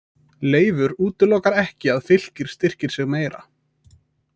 Leifur útilokar ekki að Fylkir styrkir sig meira.